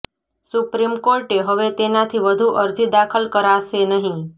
supreme કોર્ટે હવે તેનાથી વધુ અરજી દાખલ કરાશે નહીં